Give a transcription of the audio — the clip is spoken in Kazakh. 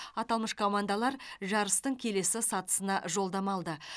аталмыш командалар жарыстың келесі сатысына жолдама алды